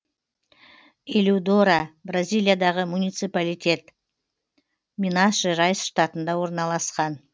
элиудора бразилиядағы муниципалитет минас жерайс штатында орналасқан